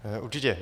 Určitě.